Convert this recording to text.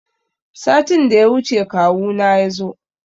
Satin da ya wuce kawu na yazo.